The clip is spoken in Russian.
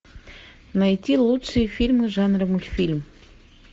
найти лучшие фильмы жанра мультфильм